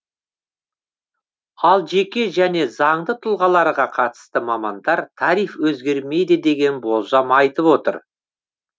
ал жеке және заңды тұлғаларға қатысты мамандар тариф өзгермейді деген болжам айтып отыр